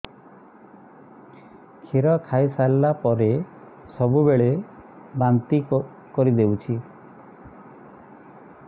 କ୍ଷୀର ଖାଇସାରିଲା ପରେ ସବୁବେଳେ ବାନ୍ତି କରିଦେଉଛି